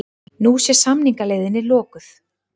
Nú sé samningaleiðin lokuð